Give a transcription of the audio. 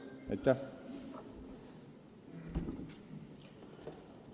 Aitäh!